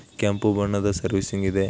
ಕೆಂಪು ಬಣ್ಣದ ಸೆರ್ವಿಸಿಂಗ್ ಇದೆ ನೋಡಿ